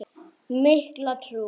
Mikla trú.